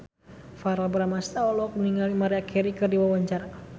Verrell Bramastra olohok ningali Maria Carey keur diwawancara